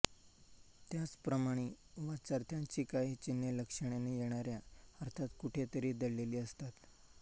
त्याचप्रमाणे वाच्यार्थाची काही चिन्हे लक्षणेने येणाऱ्या अर्थात कुठे तरी दडलेली असतात